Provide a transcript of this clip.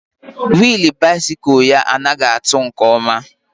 Willu bisikul ya anaghị atụ nke ọma